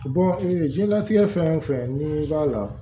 ee jiyɛnlatigɛ fɛn o fɛn n'i b'a la